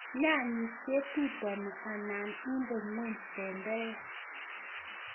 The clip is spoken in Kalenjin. Nyanyik ketutoni anan inde ngweny tenderek.